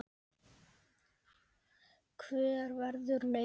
Hver verður raunin?